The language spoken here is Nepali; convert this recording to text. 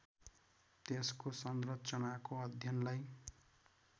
त्यसको संरचनाको अध्ययनलाई